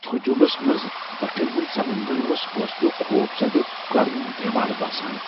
ہجومس منز بٗٹھین ہٗند سمندر اوس فٲصلٗك خوف زدہ کروٗن دیوار باسان ۔